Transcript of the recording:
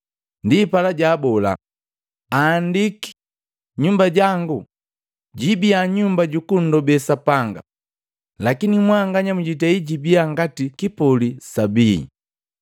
Ndipala jaabola, “Aandiki, ‘Nyumba jangu jiibia Nyumba jukundobe Sapanga!’ Lakini mwanganya mjitei jibia ngati kipoli sa bii!”